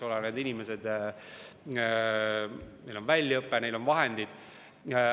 Nendel inimestel on väljaõpe, neil on vahendid.